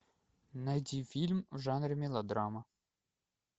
найди фильм в жанре мелодрама